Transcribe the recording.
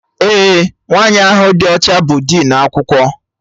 Ee, nwaanyị ahụ dị ọcha bụ dinu akwụkwọ